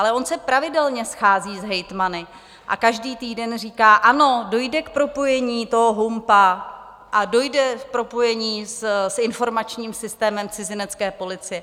Ale on se pravidelně schází s hejtmany a každý týden říká: ano, dojde k propojení toho HUMPO a dojde k propojení s informačním systémem cizinecké policie.